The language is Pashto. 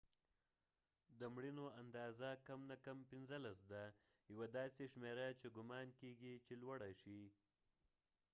د مړینو اندازه کم نه کم 15 ده یوه داسې شمیره چې ګمان کېږی چې لوړه شي